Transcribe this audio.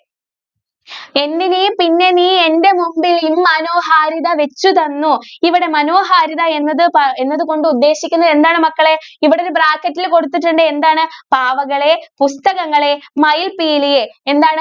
എന്നിലെ പിന്നെ നീ എന്റെ മുൻപിലും മനോഹാരിത വെച്ച് തന്നു ഇവിടെ മനോഹാരിത എന്നതു~എന്നതു കൊണ്ട് ഉദ്ദേശിക്കുന്നത് എന്താണ് മക്കളെ ഇവിടെ ഒരു bracket ൽ കൊടുത്തിട്ടുണ്ട് എന്താണ് പാവകളെ പുസ്തകങ്ങളെ മയിൽ പീലിയെ എന്താണ്.